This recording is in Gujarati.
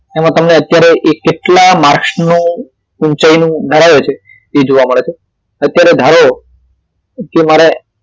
તે તમને અત્યારે કેટલા માર્કસ નું ઊંચાઈનું ધરાવે છે એ જોવા મળે છે અત્યારે ધારો કે મારે